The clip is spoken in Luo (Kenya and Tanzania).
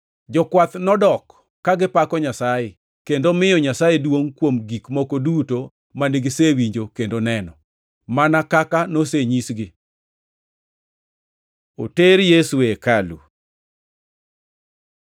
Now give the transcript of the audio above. Jokwath nodok, ka gipako Nyasaye kendo miyo Nyasaye duongʼ kuom gik moko duto mane gisewinjo kendo neno, mana kaka nosenyisgi. Oter Yesu e hekalu